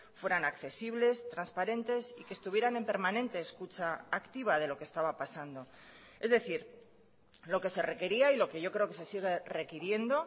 fueran accesibles transparentes y que estuvieran en permanente escucha activa de lo que estaba pasando es decir lo que se requería y lo que yo creo que se sigue requiriendo